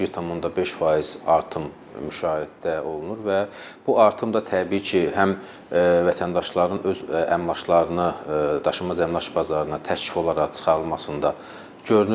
1.5% artım müşahidə olunur və bu artım da təbii ki, həm vətəndaşların öz əmlaklarını, daşınmaz əmlak bazarına təklif olaraq çıxarılmasında görünür.